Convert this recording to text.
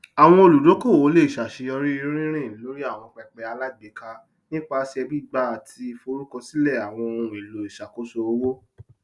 àwọn olùdókòwò le ṣàṣeyọrí rírìn lórí àwọn pẹpẹ alágbèéká nípasẹ gbígbàá àti forúkọsílẹ àwọn ohun èlò ìṣàkóso owó